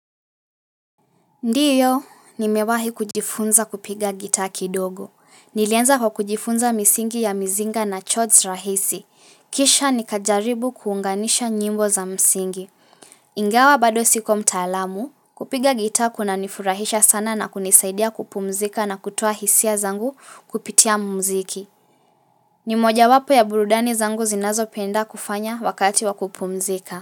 Ndiyo, nimewahi kujifunza kupiga gitaa kidogo. Nilianza kwa kujifunza misingi ya mizinga na chords rahisi. Kisha nikajaribu kuunganisha nyimbo za msingi. Ingawa bado siko mtaalamu, kupiga gitaa kunanifurahisha sana na kunisaidia kupumzika na kutoa hisia zangu kupitia mziki. Ni mojawapo ya burudani zangu zinazopenda kufanya wakati wa kupumzika.